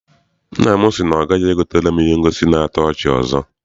Nna m si na ọ gaghị egotere m ihe ngosi na-ato ọchị ọzọ.